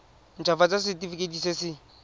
nt hafatsa setefikeiti se se